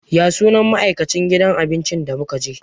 Ya sunan ma'aikacin gidan abincin da muka je?